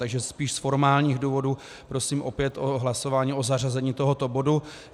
Takže spíš z formálních důvodů prosím opět o hlasování o zařazení tohoto bodu.